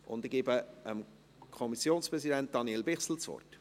Ich gebe dem Kommissionspräsidenten, Daniel Bichsel, das Wort.